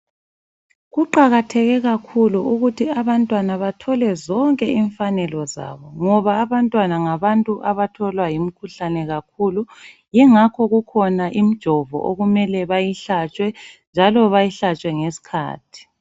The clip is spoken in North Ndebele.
Kuqakatheke kakhulu ukuthi abantwana bathole zonke imfanelo zabo ngoba abantwana ngabantu abatholwa yimikhuhlane kakhulu yingakho kukhona imjovo okumele bayihlatshwe njalo bayihlatshwe ngeskhathi.